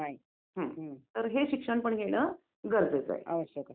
याला सगळ्याला यात्राच म्हणतात का असं?